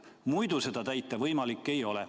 Muidu see võimalik ei ole.